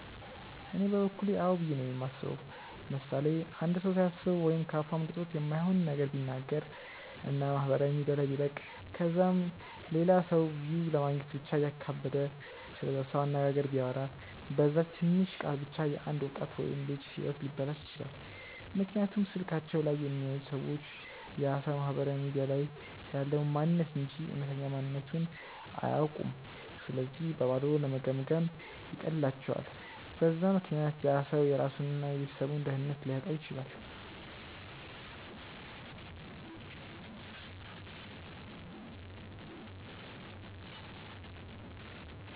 እኔ በበኩሌ አዎ ብዬ ነው የማስበው። ምሳሌ፦ አንድ ሰው ሳያስበው ወይም ከ አፉ አምልጦት የማይሆን ነገር ቢናገር እና ማህበራዊ ሚዲያ ላይ ቢለቅ ከዛም ለላ ሰው ቪው ለማግኘት ብቻ እያካበደ ስለዛ ሰው አነጋገር ቢያወራ፤ በዛች ትንሽ ቃል ብቻ የ አንድ ወጣት ወይም ልጅ ህይወት ሊበላሽ ይችላል፤ ምክንያቱም ስልካቸው ላይ የሚያዩት ሰዎች ያ ሰው ማህበራዊ ሚዲያ ላይ ያለውን ማንንነት እንጂ እውነተኛ ማንነትቱን አያውኩም ስለዚህ በባዶ ለመገምገም ይቀላቸዋል፤ በዛ ምክንያት ያ ሰው የራሱን እና የቤተሰቡን ደህንነት ሊያጣ ይችላል።